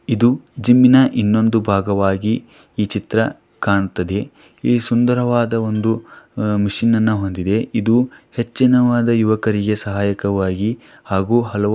ಇದು ಜಿಮ್ ಇನ ಇನ್ನೋಧು ಬಾಗವಾಗಿ ಈ ಚಿತ್ರ ಕಾಣ್ತಿದೇ. ಈ ಸುಂದರವಾದ ಈ ಮಷೀನ್ ಅನ್ನ ಹೊಂದಿದೆ. ಇದು ಹೆಚ್ಚಿನವಾದ ಯುವಕರಿಗೇ ಸಹಾಯಕವಾಗಿ ಹಾಗು ಹಲವಾರು --